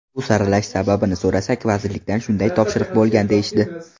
Bu saralash sababini so‘rasak, vazirlikdan shunday topshiriq bo‘lgan deyishdi.